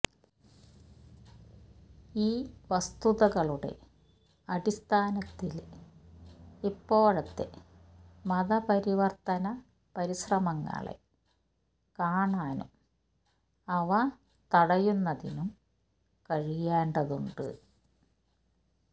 ഈ വസ്തുതകളുടെ അടിസ്ഥാനത്തില് ഇപ്പോഴത്തെ മതപരിവര്ത്തന പരിശ്രമങ്ങളെ കാണാനും അവ തടയുന്നതിനും കഴിയേണ്ടതുണ്ട്